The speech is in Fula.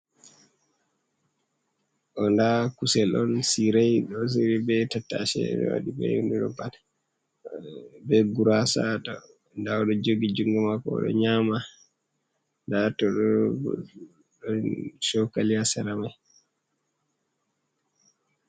Ɗo ndaa kusel on, siirey be ɗo ciryi be tattase, be waɗi guraasa, ndaa o ɗo jogi junngo maako, o ɗo nyaama ndaa haato bo, ɗon cookali haa sera may.